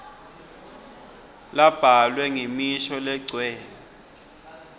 labhalwe ngemisho legcwele